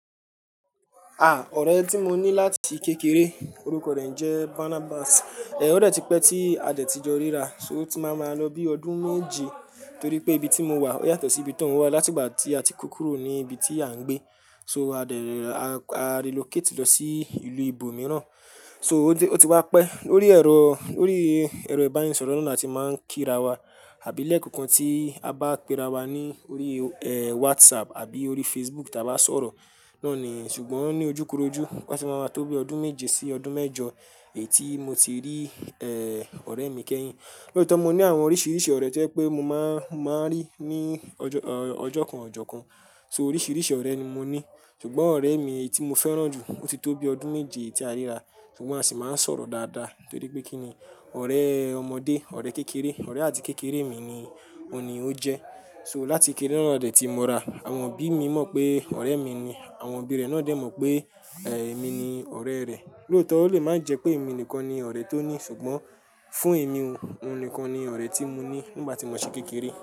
À, ọ̀rẹ́ tí mo ní láti kékeré orúkọ rẹ̀ ń jẹ́ Barnabas. Ẹ, ó dẹ́ ti pẹ́ tí a dẹ̀ ti jọ ríra, so o ti máa máa lọ bí ọdún méje torí pé ibi tí mo wà yàtọ̀ sí ibi tí òun wà látìgbà tí a ti kó kúrò ní ibi tí à ń gbé. So a dẹ ríra, a relocate lọ sí ìlú ibo mìíràn. So ó ti wá pẹ́ lórí ẹ̀rọ, lórí ẹ̀rọ ìbánisọ̀rọ̀ náà la ti máa ń kí ra wa àbí lẹ́ẹ̀kọọkan tí a bá pe ra wa ní orí, ẹ, WhatsApp àbí orí Facebook tà bá sọ̀rọ̀. Náà ni, ṣùgbọ́n ní ojúkorojú ó ti máa máa tó bi ọdún méje sí ọdún mẹ́jọ èyi tí mo ti rí, ẹ, ọ̀rẹ́ mi kẹ́yìn. Lóòtọ́ mo ní àwọn oríṣiríṣi ọ̀rẹ́ tí ó pé mo máa, máa rí ní ọjọ́ kan ọọjọ́ kan. So oríṣiríṣi ọ̀rẹ́ ni mo ní. Ṣùgbọ́n ọ̀rẹ́ mi èyí tí mo fẹ́ràn jù ó ti tó bí ọdún méje tí a ríra ṣùgbọ́n a sì máa ń sọ̀rọ̀ dáadáa torí pé kí ni ọ̀rẹ́ ọmọdé, ọ̀rẹ́ kékeré, ọ̀rẹ́ àti kékeré mi ni ó jẹ́. So láti kékeré náà dẹ̀ ti mo ra, àwọn òbí mi mọ̀ pé ọ̀rẹ́ mi ni, àwọn òbí rẹ̀ náà dẹ̀ mọ̀ pé, ẹ, èmi ni ọ̀rẹ́ rẹ̀. Lóòtọ́ ó lè máa ń jẹ́ pé èmi nìkan ni ọ̀rẹ́ tó ní ṣùgbọ́n fún èmi òun nìkan ní ọ̀rẹ́ tí mo ní nígbà tí mo ṣì kékeré.